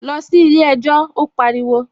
Lọ sí ilé ẹjọ́! Ó pariwo